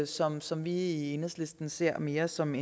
som som vi i enhedslisten ser mere som